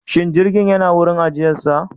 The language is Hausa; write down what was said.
Shin jirgin yana wurin ajiyarsa?